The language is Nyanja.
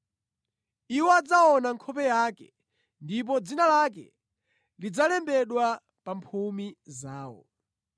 Iwo adzaona nkhope yake ndipo dzina lake lidzalembedwa pa mphumi zawo.